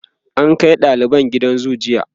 an Kai daliban gidan zoo jiya